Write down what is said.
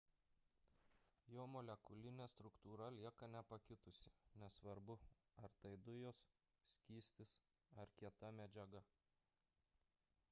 jo molekulinė struktūra lieka nepakitusi nesvarbu ar tai dujos skystis ar kieta medžiaga